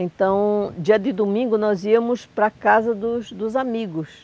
Então, dia de domingo, nós íamos para casa dos dos amigos.